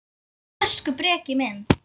Elsku Breki minn.